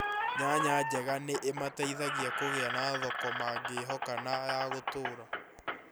Nyanya njega ni imateithagia kũgia na thoko mangĩhoka na ya gũtũũra